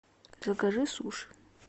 закажи суши